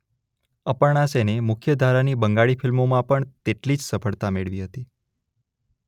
અપર્ણા સેને મુખ્ય ધારાની બંગાળી ફિલ્મોમાં પણ તેટલી જ સફળતા મેળવી હતી.